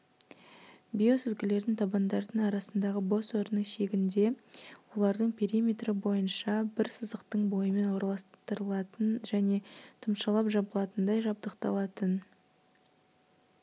биосүзгілердің табандардың арасындағы бос орынның шегінде олардың периметрі бойынша бір сызықтың бойымен орналастырылатын және тұмшалап жабылатындай жабдықталатын